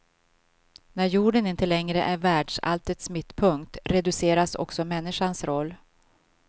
När jorden inte längre är världsalltets mittpunkt, reduceras också människans roll.